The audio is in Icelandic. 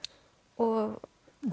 og